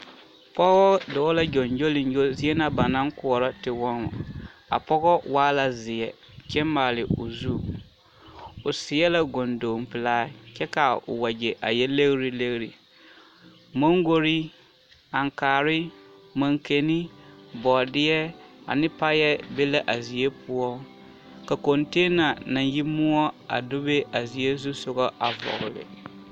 Pɔgɔ dɔɔ la gyoŋgyooliŋgyo zie na ba naŋ koɔrɔ tewɔmɔ, a pɔgɔ waa la zeɛ kyɛ maale o zu, o seɛ la gondoŋ pelaa kyɛ k'a wegyɛ a yɛ legiri legiri, mɔŋgori, aŋkaare, maŋkani, bɔɔdeɛ ane payɛ be la a zie poɔ ka kɔnteena naŋ yi moɔ a bebe a zie zusogɔ a vɔgele.